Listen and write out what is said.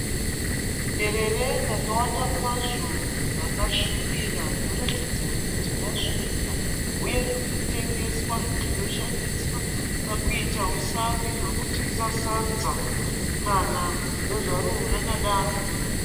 Derere rakawanda kwazvo rakasvibira rinoratidza kuti rasvika uye riri kutengeswa rinoshandiswa pakuita usavi hwekudyisa sadza kana kudya zvaro rakadaro.